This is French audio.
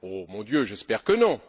Mon Dieu, j'espère que non!